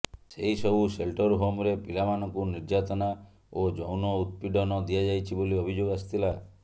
ସେହି ସବୁ ସେଲ୍ଟର୍ ହୋମ୍ରେ ପିଲାମାନଙ୍କୁ ନିର୍ଯାତନା ଓ ଯୌନଉତ୍ପୀଡ଼ନ ଦିଆଯାଇଛି ବୋଲି ଅଭିଯୋଗ ଆସିଥିଲା